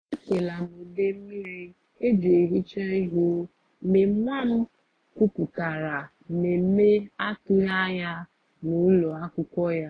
e ṭeela m ude mmiri eji ehicha ihu mgbe nwa m kwupụtara mmemme atụghị anya ya n’ụlọ akwụkwọ ya.”